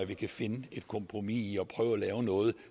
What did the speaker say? det kan finde et kompromis i at prøve at lave noget